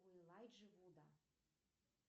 у элайджи вуда